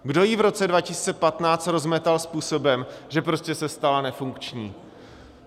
Kdo ji v roce 2015 rozmetal způsobem, že prostě se stala nefunkční?